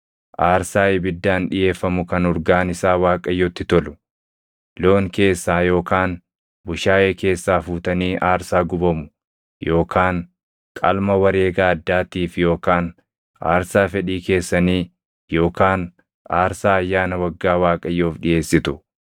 aarsaa ibiddaan dhiʼeeffamu kan urgaan isaa Waaqayyotti tolu, loon keessaa yookaan bushaayee keessaa fuutanii aarsaa gubamu yookaan qalma wareega addaatiif yookaan aarsaa fedhii keessanii yookaan aarsaa ayyaana waggaa Waaqayyoof dhiʼeessitu,